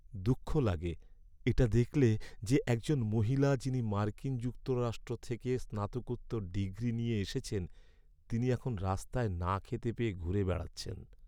দুঃখ লাগে এটা দেখলে যে, একজন মহিলা যিনি মার্কিন যুক্তরাষ্ট্র থেকে স্নাতকোত্তর ডিগ্রি নিয়ে এসেছেন তিনি এখন রাস্তায় না খেতে পেয়ে ঘুরে বেড়াচ্ছেন।